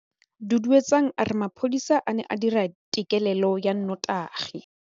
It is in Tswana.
Duduetsang a re mapodisa a ne a dira têkêlêlô ya nnotagi.